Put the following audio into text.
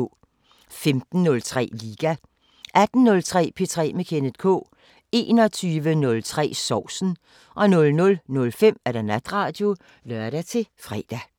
15:03: Liga 18:03: P3 med Kenneth K 21:03: Sovsen 00:05: Natradio (lør-fre)